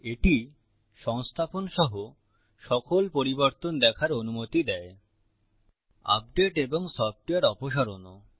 এটি সংস্থাপন সহ সকল পরিবর্তন দেখার অনুমতি দেয় আপডেট এবং সফ্টওয়্যার অপসারণও